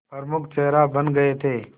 प्रमुख चेहरा बन गए थे